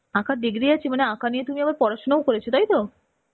আঁকার degree আছে মানে আঁকা নিয়ে তুমি আবার পড়াশুনাও করেছো তাইতো?